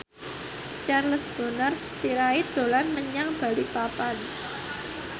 Charles Bonar Sirait dolan menyang Balikpapan